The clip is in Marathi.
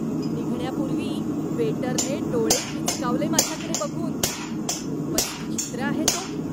निघण्यापूर्वी वेटरने डोळे मिचकावले माझ्याकडे बघून. खूपच विचित्र आहे तो.